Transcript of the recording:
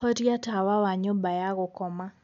horĩa tawa wa nyũmba ya gũkoma